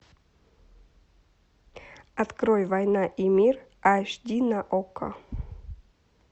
открой война и мир аш ди на окко